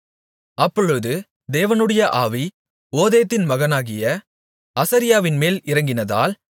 அப்பொழுது தேவனுடைய ஆவி ஓதேதின் மகனாகிய அசரியாவின்மேல் இறங்கினதால்